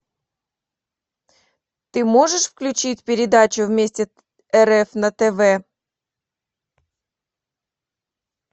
ты можешь включить передачу вместе рф на тв